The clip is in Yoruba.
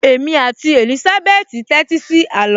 Èmi àti Èlísábẹ́tì tẹ́tí sí àló